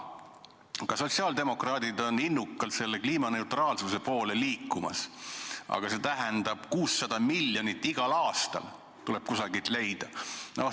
Ka sotsiaaldemokraadid on innukalt kliimaneutraalsuse poole liikumas, aga see tähendab, et 600 miljonit tuleb igal aastal kuskilt leida.